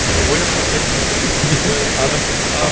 ойлап таппайтын сөздер